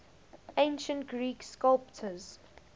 ancient greek sculptors